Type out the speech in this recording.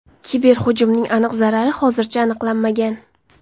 Kiberhujumning aniq zarari hozircha aniqlanmagan.